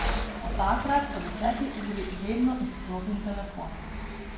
Od takrat po deseti uri vedno izklopim telefon.